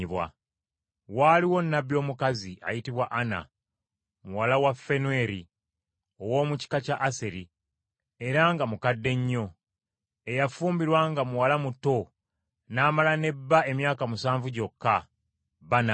Waaliwo nnabbi omukazi, ayitibwa Ana, muwala wa Fanweri, ow’omu kika kya Aseri, era nga mukadde nnyo, eyafumbirwa nga muwala muto n’amala ne bba emyaka musanvu gyokka, bba n’afa,